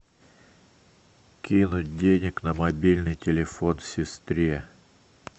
кинуть денег на мобильный телефон сестре